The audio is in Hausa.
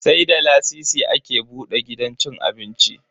Sai da lasisi ake buda gidan cin abinci.